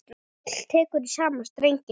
Páll tekur í sama streng.